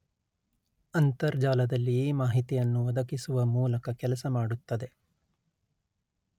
ಅಂತರ್ಜಾಲದಲ್ಲಿ ಈ ಮಾಹಿತಿಯನ್ನು ಒದಗಿಸುವ ಮೂಲಕ ಕೆಲಸ ಮಾಡುತ್ತದೆ